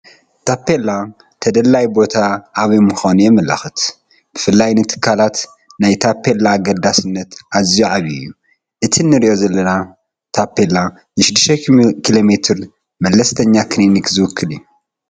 ታፔላ ተደላዪ ቦታ ኣበይ ምዃኑ የመልክት፡፡ ብፍላይ ንትካላት ናይ ታፔላ ኣገዳስነት ኣዝዩ ዓብዪ እዩ፡፡ እቲ ንሪኦ ዘለና ታፔላ ን6ኪሎ መለስተኛ ክሊኒክ ዝውክል እዩ፡፡